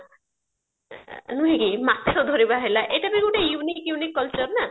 ନୁହେ କୁ ମାଛ ଧରିବା ହେଲା ଏଇଟା ବି ଗୋଟେ unique unique culture ନାଁ